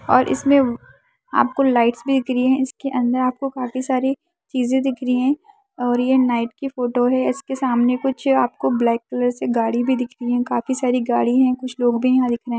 और इसमे आपको लाइट्स भी दिख रही है इसके अंदर भी आपको काफी सारी चीजे दिख रही है और ये नाइट का फोटो है इसके सामने कुछ आपको ब्लैक कलर से गाड़ी भी दिख रही है काफी सारी गाड़ी है कुछ लोग भी यहाँ दिख रहे है।